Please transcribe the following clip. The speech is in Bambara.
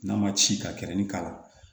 N'a ma ci ka kɛrɛnin k'a la